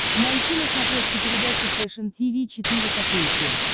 найти на смотрешке передачу фэшн ти ви четыре ка